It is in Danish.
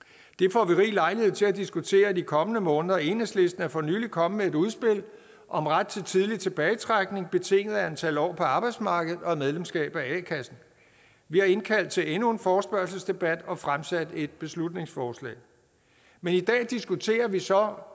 får vi rig lejlighed til at diskutere i de kommende måneder enhedslisten er for nylig kommet med et udspil om ret til tidlig tilbagetrækning betinget af antal år på arbejdsmarkedet og et medlemskab af a kassen vi har indkaldt til endnu en forespørgselsdebat og fremsat et beslutningsforslag men i dag diskuterer vi så